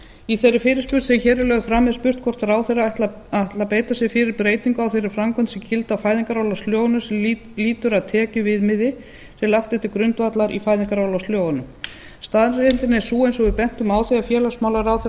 í þeirri fyrirspurn sem hér er lögð fram er spurt hátt ráðherra ætli að beita sér fyrir breytingu á þeirri framkvæmd sem gildi á fæðingarorlofslögunum sem lýtur að tekjuviðmiði sem lagt er til grundvallar í fæðingarorlofslögunum staðreyndin er sú eins og við bentum á þegar félagsmálaráðherra